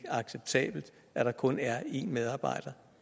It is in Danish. acceptabelt at der kun er en medarbejder